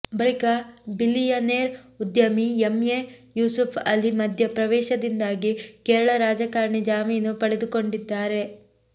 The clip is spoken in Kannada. ಬಳಿಕ ಬಿಲಿಯನೇರ್ ಉದ್ಯಮಿ ಎಂಎ ಯೂಸುಫ್ ಅಲಿ ಮಧ್ಯ ಪ್ರವೇಶದಿಂದಾಗಿ ಕೇರಳ ರಾಜಕಾರಣಿ ಜಾಮೀನು ಪಡೆದುಕೊಂಡಿದ್ದಾರೆ